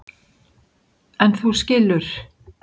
En þú skilur.